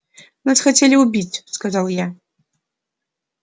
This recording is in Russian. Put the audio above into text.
нас хотели убить сказал я